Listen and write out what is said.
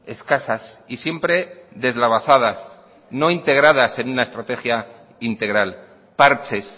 escasas y siempre deslavazadas no integradas en una estrategia integral parches